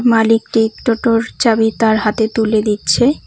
মালিকটি টোটোর চাবি তার হাতে তুলে দিচ্ছে।